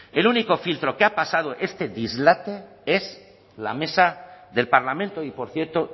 el único filtro que ha pasado este dislate es la mesa del parlamento y por cierto